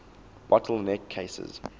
bottle neck cases